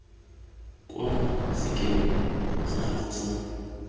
kwa sekemeng sa gago sa